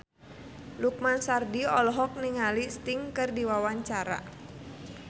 Lukman Sardi olohok ningali Sting keur diwawancara